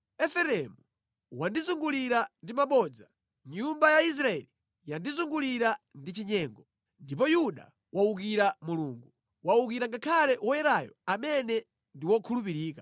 Efereimu wandizungulira ndi mabodza, nyumba ya Israeli yandizungulira ndi chinyengo. Ndipo Yuda wawukira Mulungu, wawukira ngakhale Woyerayo amene ndi wokhulupirika.